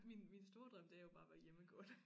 Min min store drøm det er jo bare at være hjemmegående